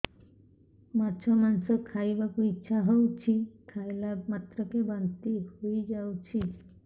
ମାଛ ମାଂସ ଖାଇ ବାକୁ ଇଚ୍ଛା ହଉଛି ଖାଇଲା ମାତ୍ରକେ ବାନ୍ତି ହେଇଯାଉଛି